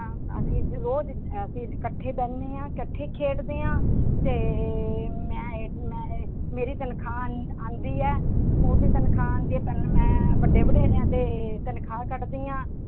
ਅਸੀਂ ਰੋਜ਼ ਅਸੀਂ ਇਕੱਠੇ ਬਹਿੰਦੇ ਹਾਂ ਇਕੱਠੇ ਖੇਡਦੇ ਹਾਂ ਤੇ ਮੈਂ ਇਹ, ਮੈਂ ਇਹ ਮੇਰੀ ਤਨਖਾਹ ਆਉਂਦੀ ਹੈ school ਦੀ ਤਨਖਾਹ ਆਉਂਦੀ ਹੈ ਪਹਿਲਾਂ ਮੈਂ ਵੱਡੇ ਵਡੇਰਿਆਂ ਦੇ ਤਨਖਾਹ ਕੱਢਦੀ ਹਾਂ